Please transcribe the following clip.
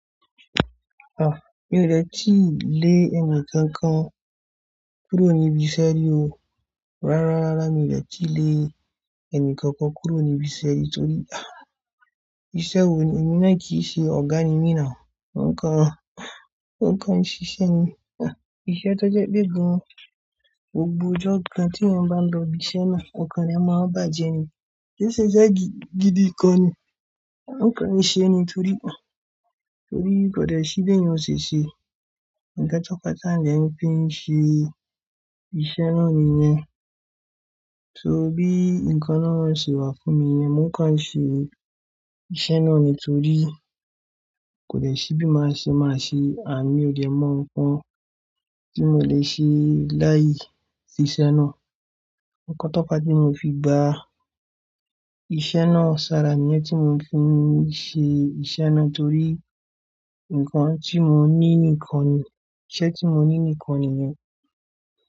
Ah! Mi ò dẹ̀ tíì lé ẹnì kankan kúrò níbi iṣẹ́ rí o. Rárá, rárá mi ò dẹ̀ tíì lé ẹnì kankan kúrò níbi iṣẹ́ rí torí ah! Iṣẹ́ wo ni? Èmi náà kì í ṣe Ọ̀gá ni mí náà o. Nǹkan, nǹkan ìṣiṣẹ́ ni. Ah! Iṣẹ́ tó jẹ́ pé bí i gbogbo ọjọ́ kan tí ènìyàn bá lọ ibi iṣẹ́ náà, okan eniyan máa ń bà jẹ ni. Ó ṣe iṣẹ́ gidi gan ni. Nǹkan ìṣe ni torí, torí kò dẹ̀ sí bí ènìyàn ò ṣe ṣe. Ǹkan tó kọjá ni èmi fi ṣe iṣẹ́ náà nìyẹn. So bí nǹkan náà ṣe wà fún mi yẹn, mò ń kàn ṣe iṣẹ́ náà nìtorí kò dẹ̀ sí bí màá ṣe máa ṣe ànd mi oo dẹ́ mọ̀ nǹkan tí mò lè ṣe láìsí iṣẹ́ náà. Ǹkan tó fá ti mo fi gba iṣẹ́ náà. Ṣàrà niyẹn tí mo fi ṣe iṣẹ́ náà torí nǹkan tí mò ń ní nìkan ni, iṣẹ́ tí mò ń ní nìkan nìyẹn.